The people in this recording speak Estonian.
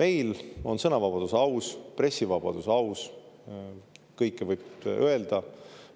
Meil on sõnavabadus aus, pressivabadus aus, kõike võib öelda,